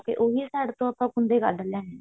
ਤੇ ਯੂਹੀ side ਤੋਂ ਆਪਾਂ ਕੁੰਡੇ ਕੱਢ ਲੈਣੇ ਨੇ